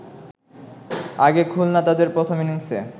আগে খুলনা তাদের প্রথম ইনিংসে